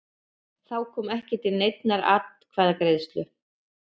Þá kom ekki til neinnar atkvæðagreiðslu